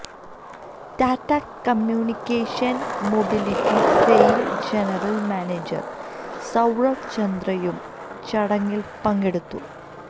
Tata communication mobility sale general manager Sourav ചന്ദ്രയും ചടങ്ങില് പങ്കെടുത്തു